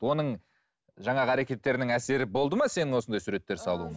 оның жаңағы әрекеттерінің әсері болды ма сенің осындай суреттер салуыңа